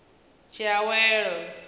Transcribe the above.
tshiawelo